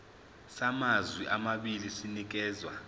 samazwe amabili sinikezwa